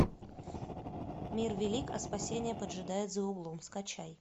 мир велик а спасение поджидает за углом скачай